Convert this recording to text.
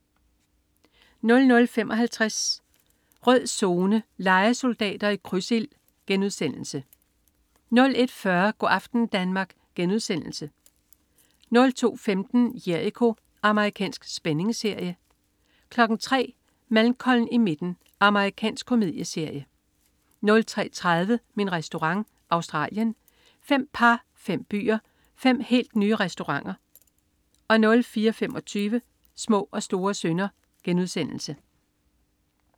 00.55 Rød Zone: Lejesoldater i krydsild* 01.40 Go' aften Danmark* 02.10 Jericho. Amerikansk spændingsserie 03.00 Malcolm i midten. Amerikansk komedieserie 03.30 Min Restaurant. Australien. Fem par, fem byer, fem helt nye restauranter 04.25 Små og store synder*